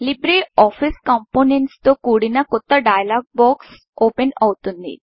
Libre office components తో కూడిన కొత్త డైలాగ్ బాక్స్ ఓపెన్ అవుతుంది